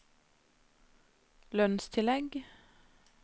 lønnstillegg